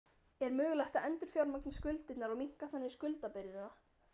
Er mögulegt að endurfjármagna skuldirnar og minnka þannig skuldabyrðina?